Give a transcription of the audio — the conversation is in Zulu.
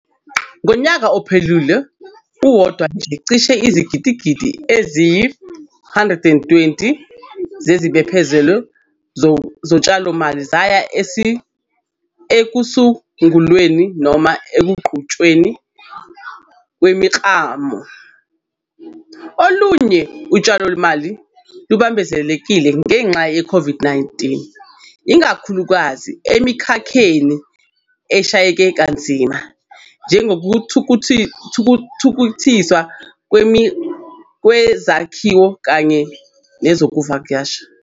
Ngonyaka ophelile uwodwa nje, cishe izigidigidi eziyi-R120 zezibophezelo zotshalomali zaya ekusungulweni noma ekuqhutshweni kwemiklamo. Olunye utshalomali lubambezelekile ngenxa ye-COVID-19, ikakhulukazi emikhakheni eshayeke kanzima njengokuthuthukiswa kwezakhiwo kanye nezokuvakasha.